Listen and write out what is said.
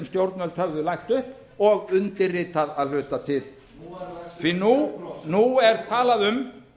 stjórnvöld höfðu lagt upp og undirritað að hluta til nú er talað um